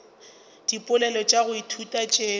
dipoelo tša go ithuta tšeo